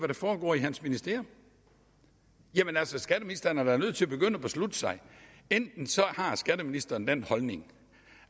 der foregår i hans ministerium skatteministeren er da nødt til at begynde at beslutte sig enten har skatteministeren den holdning